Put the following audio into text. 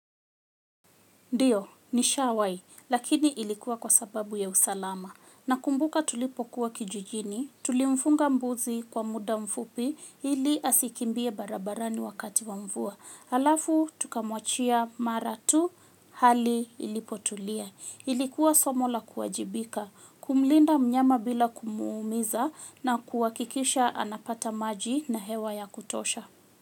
Ndio, ni shawahi, lakini ilikuwa kwa sababu ya usalama. Nakumbuka tulipokuwa kijijini, tulimfunga mbuzi kwa muda mfupi ili asikimbie barabarani wakati wa mvua. Halafu, tukamwachia mara tu hali ilipotulia. Ilikuwa somo la kuwajibika, kumlinda mnyama bila kumuumiza na kuhakikisha anapata maji na hewa ya kutosha.